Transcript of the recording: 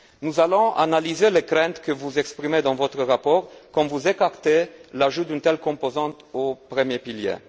Nous allons analyser les craintes que vous exprimez dans votre rapport quand vous écartez l'ajout d'une telle composante au premier pilier.